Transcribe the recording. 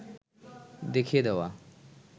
দেখিয়ে দেওয়া